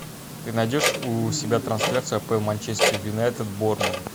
ты найдешь у себя трансляцию апл манчестер юнайтед борнмут